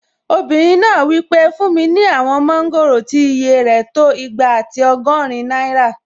Obìnrin náà wí pé "fún mi ní àwọn mọ́ngòrò tí ìyè rẹ̀ tó igba àti ọgọ́rin náírà!"